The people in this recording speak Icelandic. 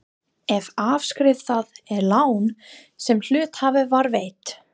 ef afskrifað er lán sem hluthafa var veitt.